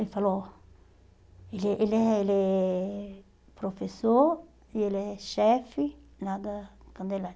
Ele falou, ele é ele é ele é professor, e ele é chefe lá da Candelária.